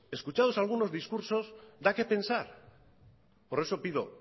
pues escuchados algunos discursos da qué pensar por eso pido